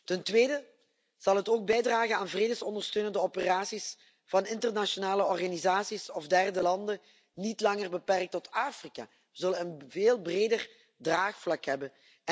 Ten tweede zal het ook bijdragen aan vredesondersteunende operaties van internationale organisaties of derde landen, niet langer beperkt tot Afrika. We zullen een veel breder draagvlak hebben.